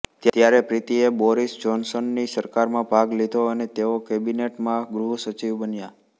ત્યારે પ્રીતિએ બોરિસ જ્હોનસનની સરકારમાં ભાગ લીધો અને તેઓ કેબિનેટ માં ગૃહ સચિવ બન્યા